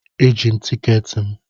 Eji m tikeeti m.